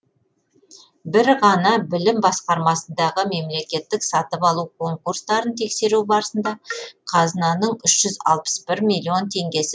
бір ғана білім басқармасындағы мемлекеттік сатып алу конкурстарын тексеру барысында қазынаның үш жүз алпыс бір миллион теңгесі